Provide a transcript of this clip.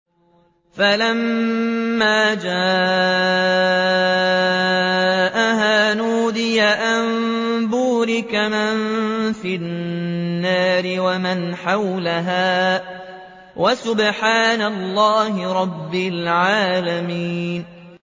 فَلَمَّا جَاءَهَا نُودِيَ أَن بُورِكَ مَن فِي النَّارِ وَمَنْ حَوْلَهَا وَسُبْحَانَ اللَّهِ رَبِّ الْعَالَمِينَ